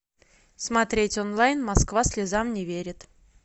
смотреть онлайн москва слезам не верит